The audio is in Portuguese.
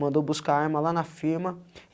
Mandou buscar a arma lá na firma.